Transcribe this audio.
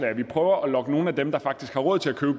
at vi prøver at lokke nogle af dem der faktisk har råd til at købe